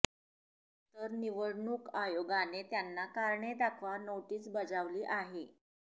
तर निवडणूक आयोगाने त्यांना कारणे दाखवा नोटीस बजावली आहे